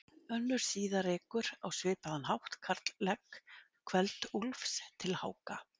Önnur síða rekur á svipaðan hátt karllegg Kveld-Úlfs til Háka.